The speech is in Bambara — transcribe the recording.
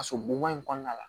So bonman in kɔnɔna la